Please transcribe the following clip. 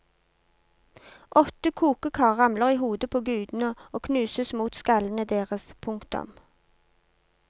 Åtte kokekar ramler i hodet på gudene og knuses mot skallene deres. punktum